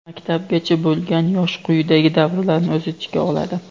Maktabgacha bo‘lgan yosh quyidagi davrlarni o‘z ichiga oladi:.